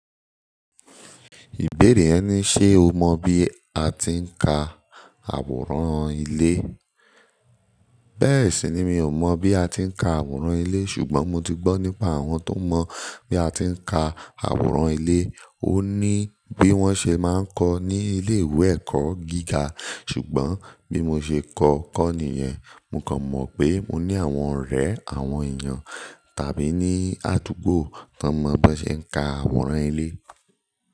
Ìbéèrè yẹn ní ṣe o mọ bí a ti ń ka àwòrán ilé? Bẹ́ẹ̀ sì ni mi ò mọ̀ bí a ti ń ka àwòrán ilé, ṣùgbọ́n mo ti gbọ́ nípa àwọn tó mọ bí a ti ń ka àwòrán ilé. Ó ní bí wọ́n ṣe máa ń kọ ní ilé ìwé ẹ̀kọ́ gíga. Ṣùgbọ́n bí mo ṣe kọ́kọ́ nìyẹn, mo kàn mọ̀ pé mo ní àwọn ọ̀rẹ́ àwọn èèyàn tàbí ní àdúgbò tó mọ bí wọ́n ṣe ń ka àwòrán ilé.